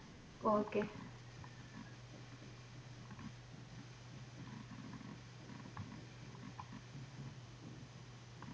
okay